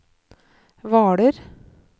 Hvaler